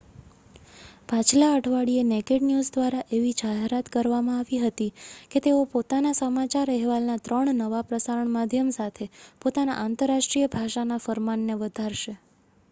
પાછલા અઠવાડિયે Naked News દ્વારા એવી જાહેરાત કરવામાં આવી હતી કે તેઓ પોતાના સમાચાર અહેવાલના 3 નવા પ્રસારણ માધ્યમ સાથે પોતાના આંતરરાષ્ટ્રીય ભાષાના ફરમાનને વધારશે